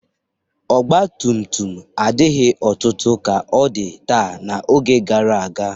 Ọgbatumtum adighị ọtụtụ ka ọ dị taa n'oge gara aga.